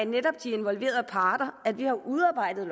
netop de involverede parter at vi har udarbejdet